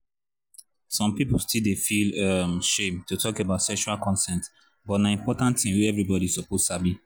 some people still dey feel um shame to talk about sexual consent but na important thing wey everybody suppose sabi